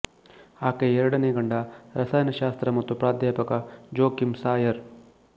ಆಕೆಯ ಎರಡನೇ ಗಂಡ ರಸಾಯನ ಶಾಸ್ತ್ರ ಮತ್ತು ಪ್ರಾಧ್ಯಾಪಕ ಜೋಕಿಮ್ ಸಾಯರ್